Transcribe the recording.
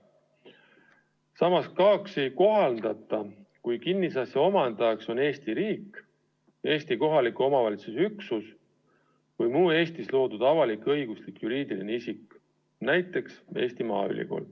Samas, KAOKS-i ei kohaldata, kui kinnisasja omandajaks on Eesti riik, Eesti kohaliku omavalitsuse üksus või muu Eestis loodud avalik-õiguslik juriidiline isik, näiteks Eesti Maaülikool.